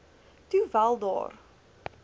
toe wel daar